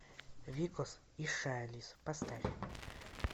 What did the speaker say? викос и шайлиз поставь